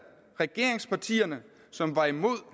regeringspartierne som var imod